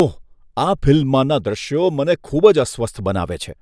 ઓહ! આ ફિલ્મમાંના દ્રશ્યો મને ખૂબ જ અસ્વસ્થ બનાવે છે.